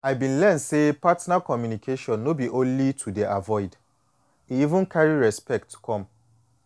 i been learn say partner communication no be only to dey avoid e even carry respect come